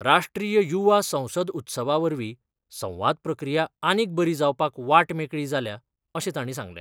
राष्ट्रीय युवा संसद उत्सवा वरवीं संवाद प्रक्रिया आनीक बरी जावपाक वाट मेकळी जाल्या अशें तांणी सांगलें.